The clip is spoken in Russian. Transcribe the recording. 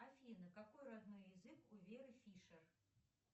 афина какой родной язык у веры фишер